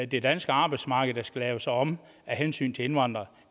det danske arbejdsmarked der skal lave sig om af hensyn til indvandrere